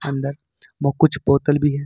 अंदर मो कुछ बोतल भी है।